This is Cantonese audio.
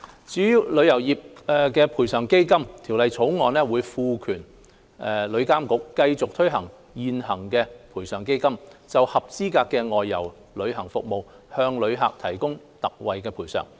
至於旅遊業賠償基金，《條例草案》會賦權旅監局繼續推行現行的賠償基金，就合資格的外遊旅行服務向旅客提供特惠賠償。